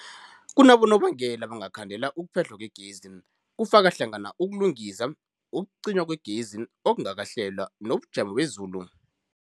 Kunabonobangela abangakhandela ukuphehlwa kwegezi, kufaka hlangana ukulungisa, ukucinywa kwegezi okungakahlelwa, nobujamo bezulu.